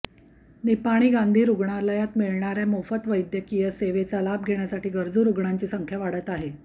निपाणी गांधी रुग्णालयात मिळणाऱया मोफत वैद्यकीय सेवेचा लाभ घेण्यासाठी गरजू रुग्णांची संख्या वाढत आहे